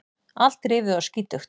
Allt rifið og skítugt.